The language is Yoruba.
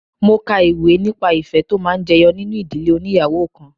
Mo ka ìwé nípa ìfẹ́ tó máa ń jẹyọ nínú ìdílé óníyàwó kan.